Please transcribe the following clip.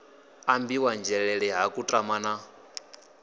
ambiwaho nzhelele ha kutama na